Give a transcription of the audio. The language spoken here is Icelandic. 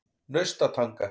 Naustatanga